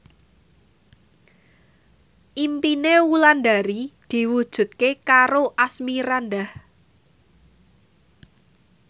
impine Wulandari diwujudke karo Asmirandah